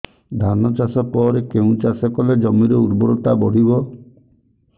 ଧାନ ଚାଷ ପରେ କେଉଁ ଚାଷ କଲେ ଜମିର ଉର୍ବରତା ବଢିବ